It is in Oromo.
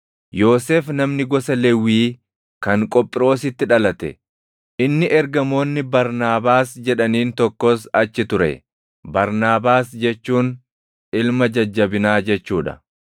Yoosef namni gosa Lewwii kan Qophiroositti dhalate, inni ergamoonni Barnaabaas jedhaniin tokkos achi ture. Barnaabaas jechuun “ilma jajjabinaa” jechuu dha.